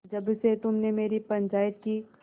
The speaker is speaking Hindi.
जब से तुमने मेरी पंचायत की